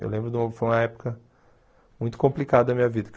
Eu lembro de um que foi uma época muito complicada da minha vida.